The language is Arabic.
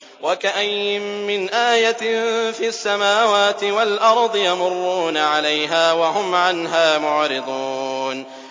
وَكَأَيِّن مِّنْ آيَةٍ فِي السَّمَاوَاتِ وَالْأَرْضِ يَمُرُّونَ عَلَيْهَا وَهُمْ عَنْهَا مُعْرِضُونَ